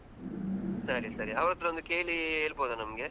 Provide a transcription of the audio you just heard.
ಸರಿ ಸರಿ, ಅವರತ್ರ ಒಂದು ಕೇಳಿ ಹೇಳ್ಬೋದ ನಮ್ಗೆ?